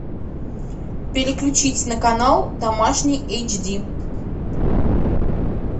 переключить на канал домашний эйч ди